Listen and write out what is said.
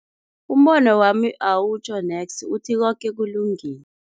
Umbono wami awutjho neksi, uthi koke kulungile.